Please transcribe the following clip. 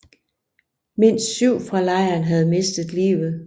Mindst syv fra lejren havde mistet livet